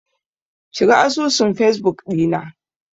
Shiga asusun fesbuk ɗina.